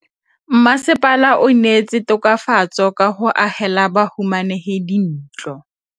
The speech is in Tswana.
Mmasepala o neetse tokafatsô ka go agela bahumanegi dintlo.